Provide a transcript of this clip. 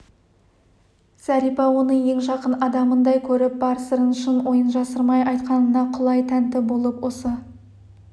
зәрипа оны ең жақын адамындай көріп бар сырын шын ойын жасырмай айтқанына құлай тәнті болып осы